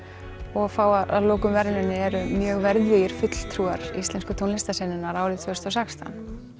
og fá að lokum verðlaun eru mjög verðugir fulltrúar íslensku tónlistarsenunnar árið tvö þúsund og sextán